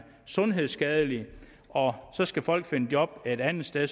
sundhedsskadelige og så skal folk finde job et andet sted